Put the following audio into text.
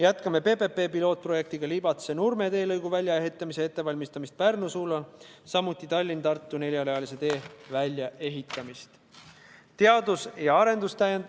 Jätkame PPP-pilootprojekti Libatse–Nurme teelõigu väljaehitamise ettevalmistamiseks Pärnu suunal, samuti jätkame Tallinna–Tartu neljarealise tee väljaehitamist.